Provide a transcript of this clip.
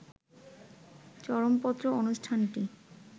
চরমপত্র অনুষ্ঠানটি